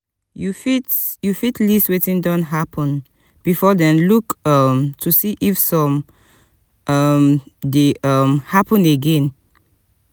you fit you fit list wetin don happen before then look um to see if some um dey um happen again